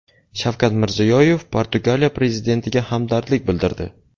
Shavkat Mirziyoyev Portugaliya prezidentiga hamdardlik bildirdi.